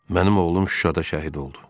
Mənim oğlum Şuşada şəhid oldu.